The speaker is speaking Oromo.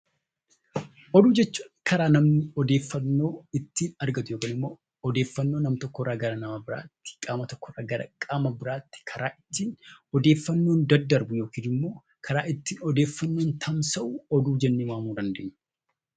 Oduu jechuun karaa namni odeeffannoo ittiin argatu yookaan immoo odeeffannoo nama tokko irraa gara nama biraatti, qaama tokko irraa qaama biraatti karaa ittiin odeeffannoon daddarbu yookaan immoo karaa ittiin odeeffannoon tamsa'u 'Oduu' jennee waamuu dandeenya.